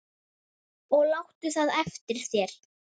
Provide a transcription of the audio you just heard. Og láttu það eftir þér.